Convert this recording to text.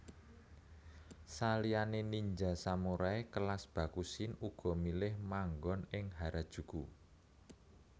Saliyané ninja samurai kelas Bakushin uga milih manggon ing Harajuku